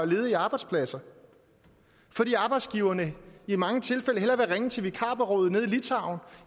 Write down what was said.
ledige arbejdspladser fordi arbejdsgiverne i mange tilfælde hellere vil ringe til vikarbureauet nede i litauen